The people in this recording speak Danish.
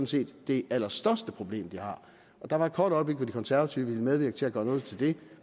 set det allerstørste problem de har der var et kort øjeblik hvor det konservative folkeparti ville medvirke til at gøre noget ved